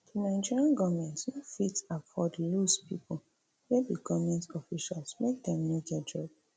di nigerian goment no fit afford lose pipo wey be goment officials make dem no get job